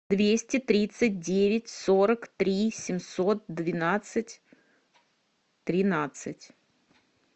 двести тридцать девять сорок три семьсот двенадцать тринадцать